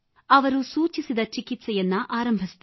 ಅವರು ಸೂಚಿಸಿದ ಚಿಕಿತ್ಸೆ ಆರಂಭಿಸಿದೆ